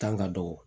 Kan ka dɔgɔ